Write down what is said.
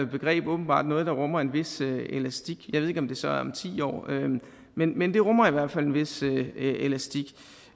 begreb åbenbart noget der rummer en vis elastik jeg ved ikke om det så er om ti år men men det rummer i hvert fald en vis elastik